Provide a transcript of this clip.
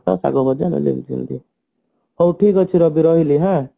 ଶାଗ ଭଜା ହାଉ ଠିକ ଅଛି ରବି ରହିଲି ହାଁ